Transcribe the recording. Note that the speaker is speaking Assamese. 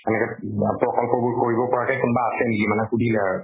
এনেকে বা প্ৰকল্প বোৰ কৰিব পৰাকে কোনবা আছে নেকি মানে সুধিলে আৰু